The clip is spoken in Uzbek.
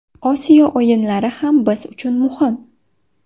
Osiyo o‘yinlari ham biz uchun muhim.